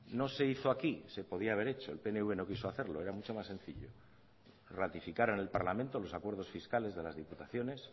no se hizo aquí se podía haber hecho el pnv no quiso hacerlo era mucho más sencillo ratificar en el parlamento los acuerdos fiscales de las diputaciones